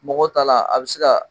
Mɔgɔw ta la a bɛ se ka